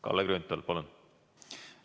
Kalle Grünthal, palun!